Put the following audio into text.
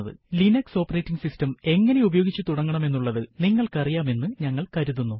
Linux operating system എങ്ങനെ ഉപയോഗിച്ചു തുടങ്ങണമെന്നുള്ളത് നിങ്ങൾക്കു അറിയാം എന്ന് ഞങ്ങൾ കരുതുന്നു